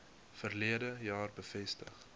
verlede jaar bevestig